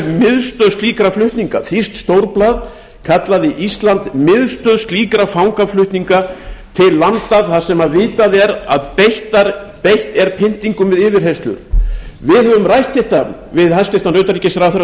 miðstöð slíkra flutninga þýskt stórblað kallaði ísland miðstöð slíkra fangaflutninga til landa þar sem vitað er að beitt er pyntingum við yfirheyrslur við höfum rætt þetta við hæstvirtan utanríkisráðherra